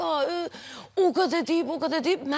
Röya da o qədər deyib, o qədər deyib.